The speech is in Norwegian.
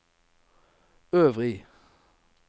øvrig